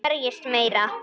Berjist meira.